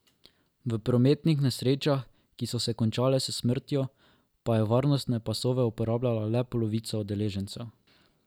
V prometnih nesrečah, ki so se končale s smrtjo, pa je varnostne pasove uporabljala le polovica udeležencev.